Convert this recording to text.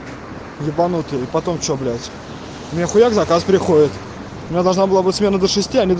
ебанутое потом что блять нехуя это от приходит я должна была быть смена души